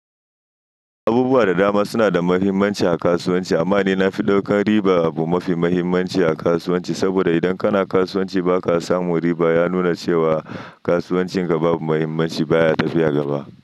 Abubuwa da dama suna da muhimmanci a kasuwanci amma ni na fi ɗaukan riba abu mafi muhimmanci a kasuwanci saboda idan kana kasuwanci ba ka samu riba ya nuna cewa kasuwancin ka babu muhimmanci baya tafiya gaba.